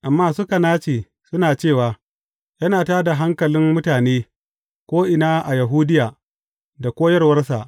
Amma suka nace, suna cewa, Yana tā da hankulan mutane, ko’ina a Yahudiya da koyarwarsa.